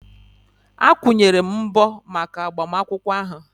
Akwụnyere m mbọ maka agbamakwụkwọ ahụ